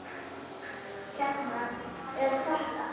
Hérna er þetta!